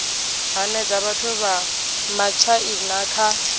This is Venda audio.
hanedza vhathu vha matshaina kha